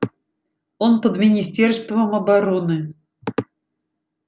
он под министерством обороны